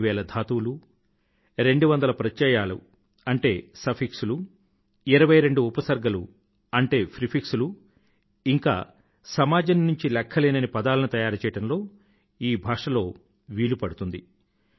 2000 ధాతువులు 200 ప్రత్యయాలు అంటే సఫిక్స్ లు 22 ఉపసర్గలు అంటే ప్రిఫిక్స్ లు ఇంకా సమాజం నుండి లెఖ్ఖలేనన్ని పదాలని తయారుచేయడం ఈ భాషలో వీలుపడుతుంది